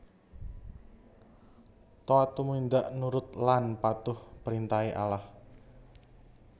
Toat tumindak nurut laan patuh prentahe Allah